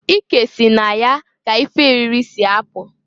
Ike si na ya ka ife eriri si apụ.